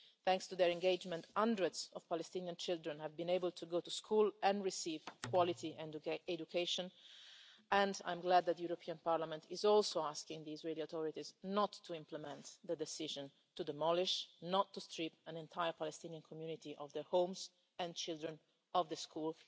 Thanks to their engagement, hundreds of Palestinian children have been able to go to school and receive quality education, and I am glad that the European Parliament is also asking the Israeli authorities not to implement the decision to demolish and not to strip an entire Palestinian community of their homes and their children of the school.